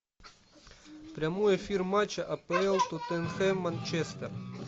прямой эфир матча апл тоттенхэм манчестер